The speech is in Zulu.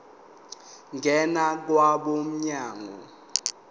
ngena kwabo mnyango